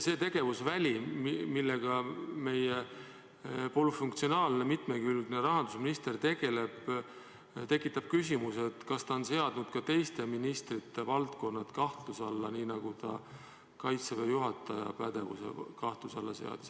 See tegevusväli, millega meie polüfunktsionaalne, mitmekülgne rahandusminister tegeleb, tekitab küsimuse, kas ta on seadnud ka teised ministrid kahtluse alla, nii nagu ta Kaitseväe juhataja pädevuse kahtluse alla seadis.